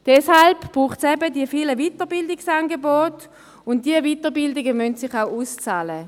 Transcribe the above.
Deswegen braucht es die vielen Weiterbildungsangebote, und diese Weiterbildungen müssen sich auch auszahlen.